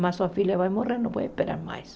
Mas sua filha vai morrer, não pode esperar mais.